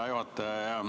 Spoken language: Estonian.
Hea juhataja!